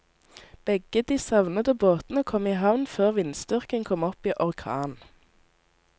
Begge de savnede båtene kom i havn før vindstyrken kom opp i orkan.